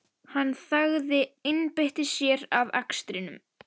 Hann þagði, einbeitti sér að akstrinum.